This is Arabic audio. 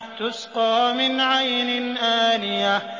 تُسْقَىٰ مِنْ عَيْنٍ آنِيَةٍ